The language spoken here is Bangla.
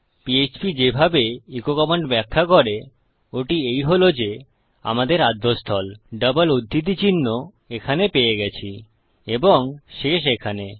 পিএচপি যেভাবে এচো কমান্ড ব্যাখ্যা করে ওটি এই হল যে আমাদের আদ্যস্থল ডাবল উধৃতি চিহ্ন এখানে পেয়ে গেছি এবং শেষ এখানে